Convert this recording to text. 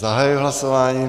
Zahajuji hlasování.